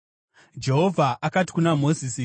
Jehovha akati kuna Mozisi,